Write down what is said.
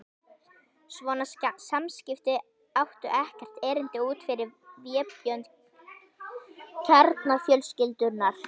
Svona samskipti áttu ekkert erindi út fyrir vébönd kjarnafjölskyldunnar.